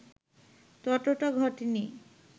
ততটা ঘটেনি